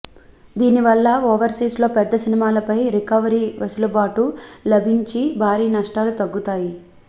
దీని వల్ల ఓవర్సీస్లో పెద్ద సినిమాలపై రికవరీకి వెసులుబాటు లభించి భారీ నష్టాలు తగ్గుతాయి